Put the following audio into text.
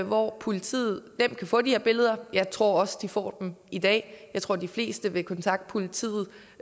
hvor politiet nemt kan få de her billeder jeg tror også at de får dem i dag jeg tror de fleste vil kontakte politiet